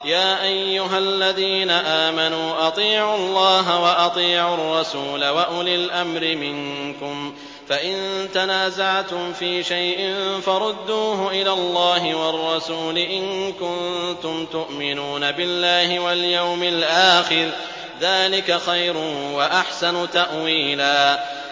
يَا أَيُّهَا الَّذِينَ آمَنُوا أَطِيعُوا اللَّهَ وَأَطِيعُوا الرَّسُولَ وَأُولِي الْأَمْرِ مِنكُمْ ۖ فَإِن تَنَازَعْتُمْ فِي شَيْءٍ فَرُدُّوهُ إِلَى اللَّهِ وَالرَّسُولِ إِن كُنتُمْ تُؤْمِنُونَ بِاللَّهِ وَالْيَوْمِ الْآخِرِ ۚ ذَٰلِكَ خَيْرٌ وَأَحْسَنُ تَأْوِيلًا